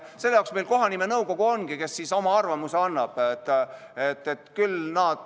Selle jaoks meil kohanimenõukogu ongi, kes oma arvamuse annab.